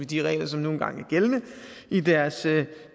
de regler som nu engang er gældende i deres